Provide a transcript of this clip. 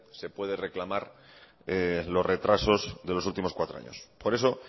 se puede reclamar los retrasos de los últimos cuatro años por eso